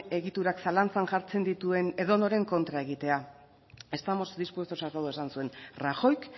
egiturak zalantzan jartzen dituen edonorren kontra egitea estamos dispuestos a todo esan zuen rajoyk